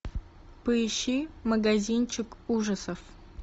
поищи магазинчик ужасов